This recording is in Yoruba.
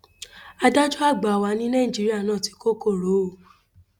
adájọ àgbà wà ní nàìjíríà náà tí kò korò o